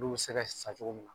N'u bɛ se ka cogo min na